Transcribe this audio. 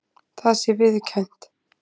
Það sé viðurkennt